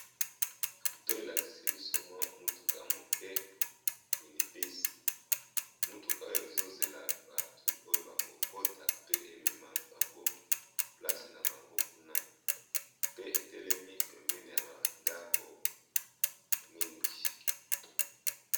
Foto elakisi biso mwa mutuka moke mini bus, mutuka oyo ezo zela batu oyo bako kota pe emema bango place na bango kuna pe etelemi pembeni ya ba ndako mingi.